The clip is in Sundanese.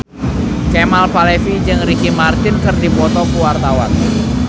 Kemal Palevi jeung Ricky Martin keur dipoto ku wartawan